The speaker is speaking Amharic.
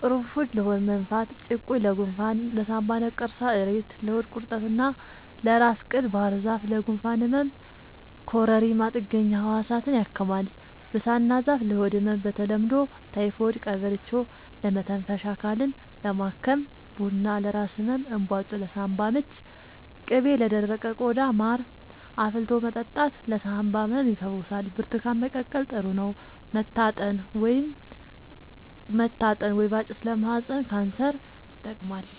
ቁሩፉድ ለሆድ መነፋት ጭቁኝ ለጎንፋን ለሳንባ ነቀርሳ እሬት ለሆድ ቁርጠት እና ለራስ ቅል ባህርዛፍ ለጉንፋን ህመም ኮረሪማ ጥገኛ ህዋሳትን ያክማል ብሳና ዛፍ ለሆድ ህመም በተለምዶ ታይፎድ ቀበርቿ ለመተንፈሻ አካልን ለማከም ቡና ለራስ ህመም እንባጮ ለሳንባ ምች ቅቤ ለደረቀ ቆዳ ማር አፍልቶ መጠጣት ለሳንባ ህመም ይፈውሳል ብርቱካን መቀቀል ጥሩ ነው መታጠን ወይባ ጭስ ለማህፀን ካንሰር ይጠቅማል